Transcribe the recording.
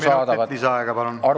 Kolm minutit lisaaega, palun!